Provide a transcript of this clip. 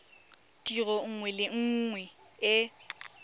tiro nngwe le nngwe e